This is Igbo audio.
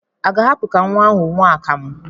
A ga-ahapụ ka nwa ahụ ṅụọ akamụ?